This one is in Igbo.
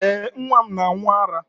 Ee, nwa m na-aṅụ ara.